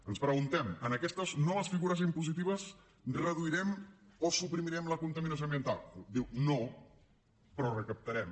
ens preguntem en aquestes noves figures impositives reduirem o suprimirem la contaminació ambiental diu no però recaptarem